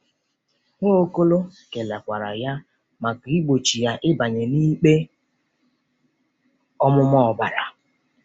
Nwaokolo kelekwara ya maka igbochi ya ịbanye n'ikpe ọmụma ọbara.